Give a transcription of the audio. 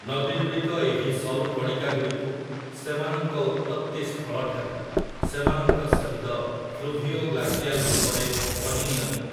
ନଦୀଗୁଡ଼ିକ ଏହି ସରୁ କଣିକାଗୁଡ଼ିକୁ, ସେମାନଙ୍କ ଉତ୍ପତ୍ତି ସ୍ଥଳଠାରୁ, ସେମାନଙ୍କ ସହିତ ଫ୍ଲୂଭିଓଗ୍ଲାସିଆଲ୍ ରୂପରେ ବହିନିଅନ୍ତି ।